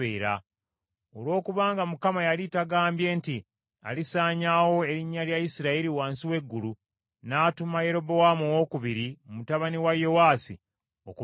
Olw’okubanga Mukama yali tagambye nti alisaanyaawo erinnya lya Isirayiri wansi w’eggulu, n’atuma Yerobowaamu II mutabani wa Yowaasi okubalokola.